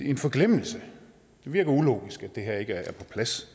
en forglemmelse det virker ulogisk at det her ikke er på plads